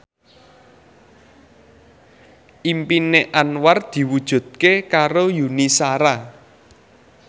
impine Anwar diwujudke karo Yuni Shara